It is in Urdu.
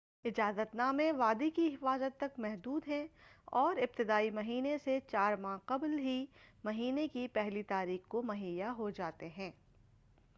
اجازت نامے وادی کی حفاظت تک محدود ہیں اور ابتدائی مہینے سے چار ماہ قبل ہی مہینے کی پہلی تاریخ کو مہیا ہوجاتے ہیں